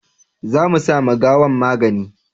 za mu sa ma gawan magani